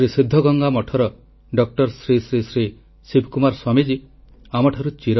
• ସ୍ୱଚ୍ଛତା ଆଣିବା ଲାଗି ସାଢେ ତିନି କୋଟି ମନରେଗା ସମ୍ପତ୍ତି ଏବଂ 23 ରାଜ୍ୟରେ ନିର୍ମିତ 40 ଲକ୍ଷ ଆବାସକୁ ଉପଗ୍ରହ ଭିତିକ ଜିଓ ଟ୍ୟାଗ